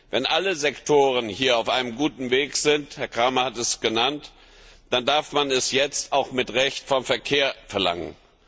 Wenn alle Sektoren hier auf einem guten Weg sind Herr Cramer hat es so genannt dann darf man es jetzt auch mit Recht vom Verkehr verlangen.